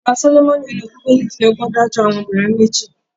Ọba Sólómọ́nì inú Bíbélì fi ọgbọ́n dájọ́ àwọn obìnrin méjì.